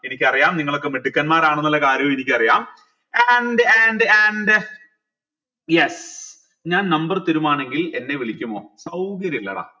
എനിക്കറിയാം നിങ്ങളൊക്കെ മിടുക്കന്മാരാണെന്നുള്ള കാര്യവും എനിക്കറിയാം and and and yes ഞാൻ number തരുമാണെങ്കിൽ എന്നെ വിളിക്കുമോ സൗകര്യില്ലടാ